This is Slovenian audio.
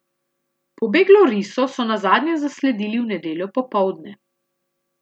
Pobeglo riso so nazadnje zasledili v nedeljo popoldne.